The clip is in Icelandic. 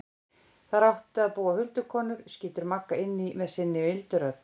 Þar áttu að búa huldukonur, skýtur Magga inn í með sinni mildu rödd.